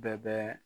Bɛɛ bɛ